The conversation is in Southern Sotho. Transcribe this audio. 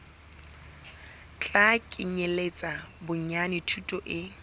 tla kenyeletsa bonyane thuto e